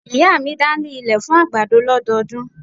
Ìyá mi da ní ilẹ̀ fún àgbàdo lọ́dọọdún.